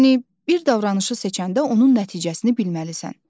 Yəni bir davranışı seçəndə onun nəticəsini bilməlisən.